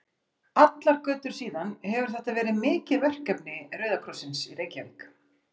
Allar götur síðan hefur þetta verið mikið verkefni Rauða krossins í Reykjavík.